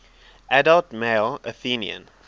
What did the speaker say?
adult male athenian